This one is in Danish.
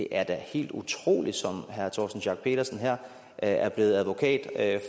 er helt utroligt som herre torsten schack pedersen her er blevet advokat